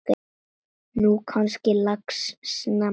Nú gangi lax snemma.